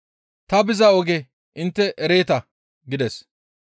Ta biza oge intte ereeta» gides.